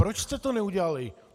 Proč jste to neudělali?